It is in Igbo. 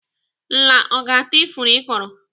Nla ọ ga-ata ifuru ị kọrọ?